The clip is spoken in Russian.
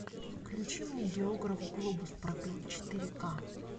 включи мне географ глобус пропил четыре к